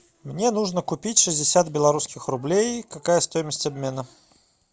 мне нужно купить шестьдесят белорусских рублей какая стоимость обмена